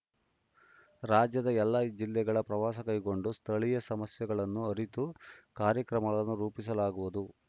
ರಾಜ್ಯದ ಎಲ್ಲಾ ಜಿಲ್ಲೆಗಳಲ್ಲಿ ಪ್ರವಾಸ ಕೈಗೊಂಡು ಸ್ಥಳೀಯ ಸಮಸ್ಯೆಗಳನ್ನು ಅರಿತು ಕಾರ್ಯಕ್ರಮಗಳನ್ನು ರೂಪಿಸಲಾಗುವುದು